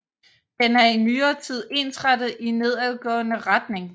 Den er i nyere tid ensrettet i nedadgående retning